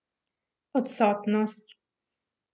Odsotnost.